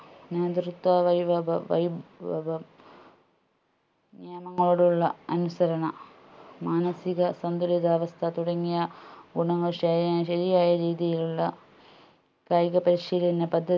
നേതൃത്വ വൈവഭം വൈഭവം നിയമങ്ങളോടുള്ള അനുസരണ മാനസിക സന്തുലിതാവസ്ഥ തുടങ്ങിയ ഗുണങ്ങൾ ശരി ശരിയായ രീതിയിലുള്ള കായിക പരിശീലന പദ്ധ